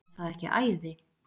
Er það ekki æði?